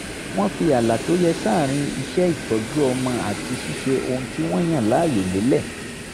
wọ́n fi ààlà tó yẹ sáàárín iṣẹ́ ìtọ́jú ọmọ àti ṣíṣe ohun tí wọ́n yàn láàyò lélẹ̀